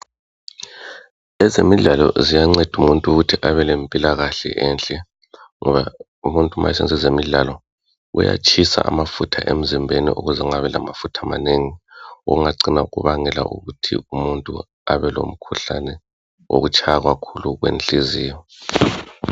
Ezemidlalo ziyanceda umuntu ukuthi abe lempilakahle enhle ngoba umuntu ma esenza ezemidlalo uyatshisa amafutha emzimbeni ukuze engabi lamafutha amanengi okungacina kubangela ukuthi umuntu abe lomkhuhlane wokutshaya kakhulu kwenhliziyo.